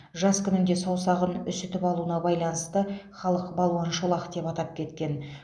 жас күнінде саусағын үсітіп алуына байланысты халық балуан шолақ деп атап кеткен